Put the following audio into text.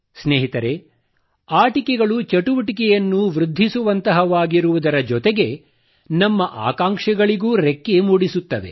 ಸ್ನೇಹಿತರೆ ಆಟಿಕೆಗಳು ಚಟುವಟಿಕೆಯನ್ನು ವೃದ್ಧಿಸುವಂತಹವಾಗಿರುವುದರ ಜೊತೆಗೆ ನಮ್ಮ ಆಕಾಂಕ್ಷೆಗಳಿಗೂ ರೆಕ್ಕೆ ಮೂಡಿಸುತ್ತವೆ